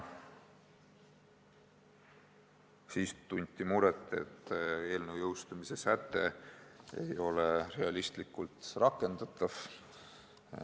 Samuti tunti muret selle pärast, et eelnõu jõustumise säte ei ole realistlikult rakendatav.